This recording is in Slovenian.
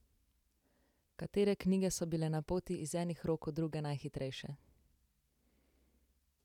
Katere knjige so bile na poti iz enih rok v druge najhitrejše?